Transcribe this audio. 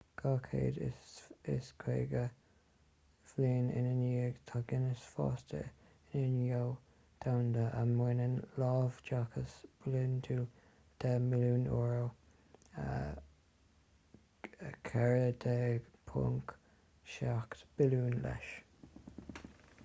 250 bliain ina dhiadh tá guinness fásta ina ghnó domhanda a mbaineann láimhdeachas bliantúil 10 mbilliún euro us$14.7 billiún leis